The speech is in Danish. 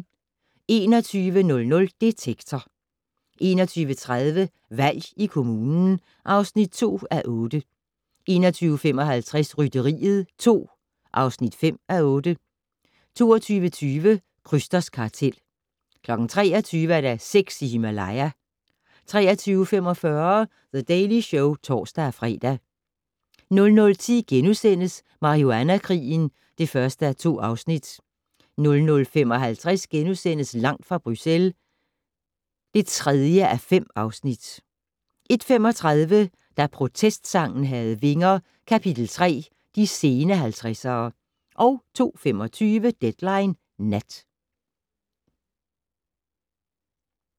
21:00: Detektor 21:30: Valg i kommunen (2:8) 21:55: Rytteriet 2 (5:8) 22:20: Krysters kartel 23:00: Sex i Himalaya 23:45: The Daily Show (tor-fre) 00:10: Marihuana-krigen (1:2)* 00:55: Langt fra Bruxelles (3:5)* 01:35: Da protestsangen havde vinger - Kap.3: De sene 70'ere 02:25: Deadline Nat